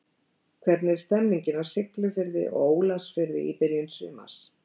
Hvernig er stemmingin á Siglufirði og Ólafsfirði í byrjun sumars?